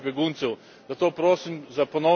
Zato prosim za ponovni premislek.